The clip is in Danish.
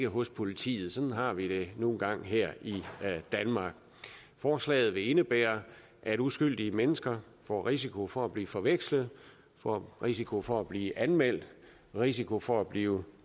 hos politiet sådan har vi det nu engang her i danmark forslaget vil indebære at uskyldige mennesker får risiko for at blive forvekslet får risiko for at blive anmeldt risiko for at blive